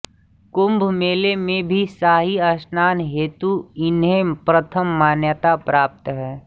कुम्भ मेले में भी शाही स्नान हेतु इन्हे प्रथम मान्यता प्राप्त है